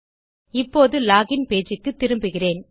இப்போது login page க்குத்திரும்புகிறேன்